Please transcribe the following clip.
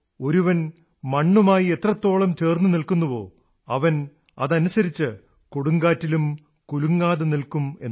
ഒരുവൻ മണ്ണുമായി എത്രത്തോളം ചേർന്നുനിൽക്കുന്നുവോ അവൻ അതനുസരിച്ച് കൊടുങ്കാറ്റിലും കുലുങ്ങാതെ നിൽക്കും എന്ന്